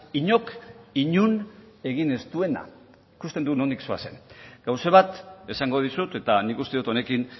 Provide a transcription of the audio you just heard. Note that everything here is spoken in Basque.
inork inon egin ez duena ikusten dut nondik zoazen gauza bat esango dizut eta nik uste dut honekin